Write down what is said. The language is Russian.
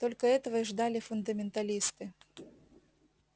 только этого и ждали фундаменталисты